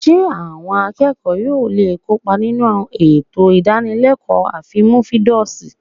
Ṣé àwọn akẹ́kọ̀ọ́ yóò lè kópa nínú àwọn ètò ìdánilẹ́kọ̀ọ́ àfínnúfíndọ̀ṣe?